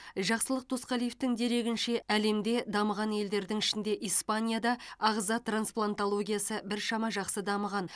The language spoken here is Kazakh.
жақсылық досқалиевтің дерегінше әлемде дамыған елдердің ішінде испанияда ағза транспланталогиясы біршама жақсы дамыған